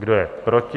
Kdo je proti?